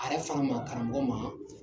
A yɛrɛ fana ma, karamɔgɔ ma